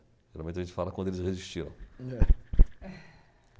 Geralmente a gente fala quando eles resistiram. É. É.